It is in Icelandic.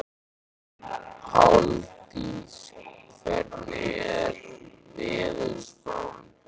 Páldís, hvernig er veðurspáin?